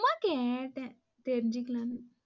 சும்மா கேட்டேன் தெரிஞ்சுக்கலாம்னு.